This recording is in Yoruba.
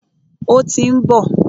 Ó tí ń bọ̀.